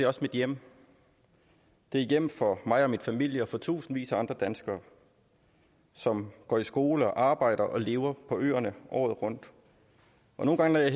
også mit hjem det er et hjem for mig og min familie og for tusindvis af andre danskere som går i skole og arbejder og lever på øerne året rundt og nogle gange når jeg